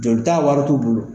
Jolita wari t'u bolo.